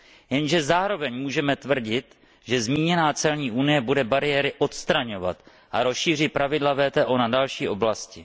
Jenže zároveň můžeme tvrdit, že zmíněná celní unie bude bariéry odstraňovat a rozšíří pravidla WTO na další oblasti.